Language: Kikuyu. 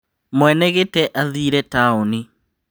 Mwene gĩtĩ athire taoni